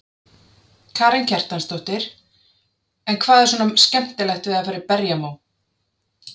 Karen Kjartansdóttir: En hvað er svona skemmtilegt við að fara í berjamó?